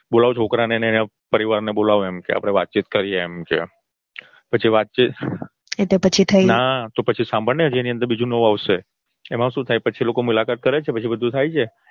બોલાવો છોકરા અને એના પરિવારને બોલાવો એમ કે અપડે વાતચીત કરીએ એમ કે પછી વાતચીત એટલે પછી થઇ ના હજુ સાંભારને હજી બહુ નવું આવશે એમાં શું થાય પછી એ લોકો મુલાકાત કરે છે અને પછી બધું થાય છે